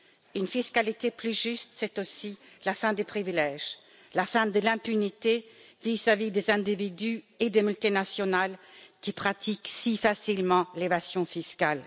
Une fiscalité plus juste, c'est aussi la fin des privilèges, la fin de l'impunité vis à vis des individus et des multinationales qui pratiquent si facilement l'évasion fiscale.